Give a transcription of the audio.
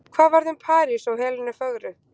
hvað varð um parís og helenu fögru